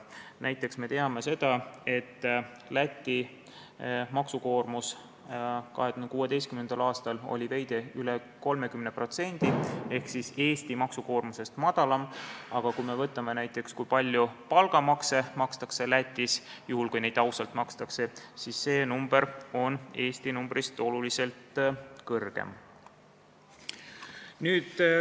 Näiteks, me teame, et Läti maksukoormus 2016. aastal oli veidi üle 30% ehk Eesti maksukoormusest madalam, aga kui me vaatame näiteks seda, kui palju palgamakse makstakse Lätis – juhul, kui neid ausalt makstakse –, siis näeme, et see number on Eesti numbrist oluliselt suurem.